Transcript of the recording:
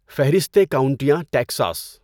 فہرستِ کاؤنٹیاں ٹیکساس